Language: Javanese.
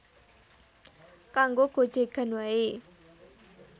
Kanggo gojegan wae